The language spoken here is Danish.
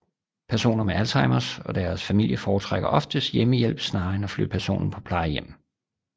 Personer med Alzheimers og deres familie foretrækker oftest hjemmehjælp snarere end at flytte personen på plejehjem